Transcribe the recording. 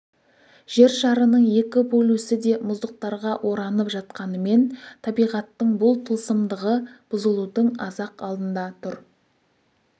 жер шарының екі полюсі де мұздықтарға оранып жатқанымен табиғаттың бұл тылсымдығы бұзылудың аз-ақ алдында тұр